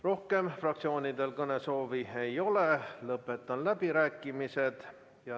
Rohkem fraktsioonidel kõnesoove ei ole, lõpetan läbirääkimised.